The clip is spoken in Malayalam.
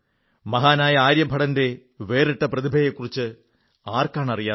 മഹാനായ ആര്യഭടന്റെ വേറിട്ട പ്രതിഭയെക്കുറിച്ച് ആർക്കാണറിയാത്തത്